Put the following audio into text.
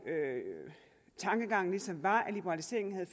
tankegangen ligesom var at liberaliseringen havde